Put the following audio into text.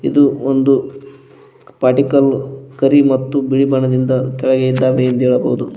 ಇದು ಒಂದು ಪಡಿಕಲ್ಲ್ ಕರಿ ಮತ್ತು ಬಿಳಿ ಬಣ್ಣದಿಂದ ಕೆಳಗೆ ಇದ್ದಾವೆ ಎಂದು ಹೇಳಬಹುದು.